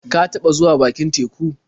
Ka taɓa zuwa bakin teku?